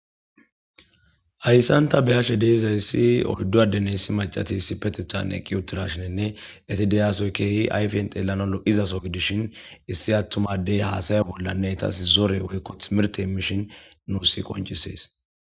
Hayssan tha be7ashe de7izayssi oyddu addenne issi maccathi issippetheththan eqqi uththirashenne ethi de7iya soho keehi ayfen xeellanawu lo7iza soho gidishin issi aththuma addee haasaya bollanne ethassi zore woykko thimirththe immishin nuussi qonccisses.